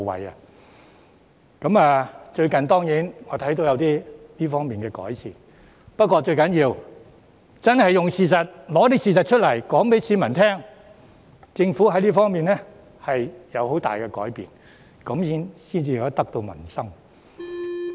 我發覺最近在這方面有所改善，但最重要的是拿出事實，告訴市民政府在這方面有很大改變，這樣才能得民心。